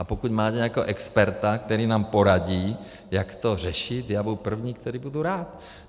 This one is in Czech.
A pokud máte nějakého experta, který nám poradí, jak to řešit, já budu první, který bude rád.